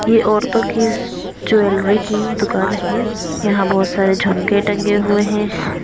ये औरतों की सस ज्वेलरी की दुकान है यहाँ बहुत सारे झमके टंगे हुए हैं।